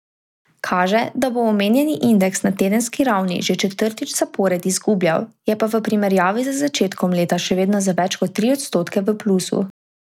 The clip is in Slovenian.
Kaže, da bo omenjeni indeks na tedenski ravni že četrtič zapored izgubljal, je pa v primerjavi z začetkom leta še vedno za več kot tri odstotke v plusu.